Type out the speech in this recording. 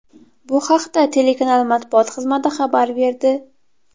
Bu haqda telekanal matbuot xizmati xabar berdi.